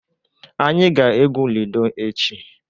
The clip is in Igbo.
Anyị ga-egwu lidọ echi.